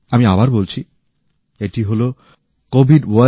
আমি আবার বলছি এটি হল covidwarriorsgovin